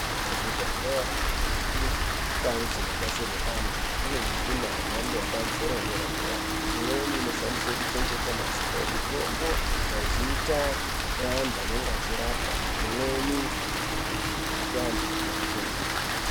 Kuzvibhedhlera ngekundau dzinodetserwe antu kune mishina yemhando yepamusoro, yedera-dera. Imweni inoshandiswe kuchengete mazita emitombo, mazita eantu anenge achirapwa, imweni kupe antu mitombo.